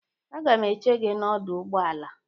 Agam eche gị n'ọdọ ụgbọala.